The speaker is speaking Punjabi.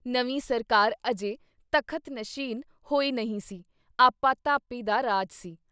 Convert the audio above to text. ਨਵੀਂ ਸਰਕਾਰ ਅਜੇ ਤਖ਼ਤ ਨਸ਼ੀਨ ਹੋਈ ਨਹੀਂ ਸੀ ਆਪਾ-ਧਾਪੀ ਦਾ ਰਾਜ ਸੀ।